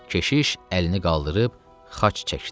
Keşiş əlini qaldırıb xaç çəkdi.